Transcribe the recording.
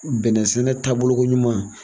Bɛnnɛsɛnɛ taabolokoɲuman.